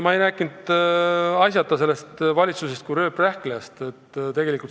Ma ei rääkinud põhjuseta sellest valitsusest kui rööprähklejast.